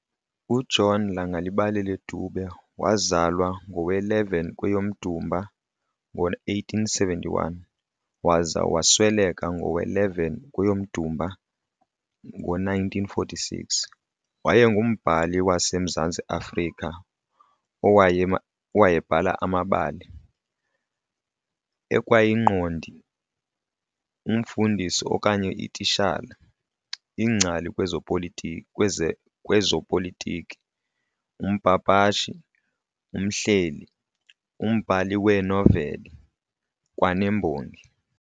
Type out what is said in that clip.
UJohn Langalibalele Dube, waazalwa ngowe-11 kweyomDumba ngo-1871, waza wasweleka ngowe-11 kweyomDumba ngo-1946, wayengumbhali wasemZantsi Afrika owayebhala amabali, ekwayingqondi, umfundisi okanye ititshala, ingcali kwezopolitiki, umpapashi, umhleli, umbhali weenoveli, kwanembongi.